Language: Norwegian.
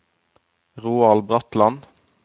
Roald Bratland